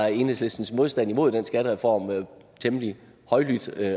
at enhedslistens modstand imod den skattereform var temmelig højlydt